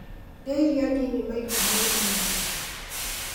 rĩa irio nini maita maigana ũna